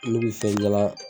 Ne bi fɛn jalan